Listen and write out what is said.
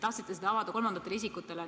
Tahtsite selle info avada kolmandatele isikutele.